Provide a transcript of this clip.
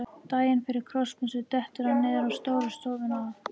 Daginn fyrir krossmessu dettur hann niður á stóra stofu á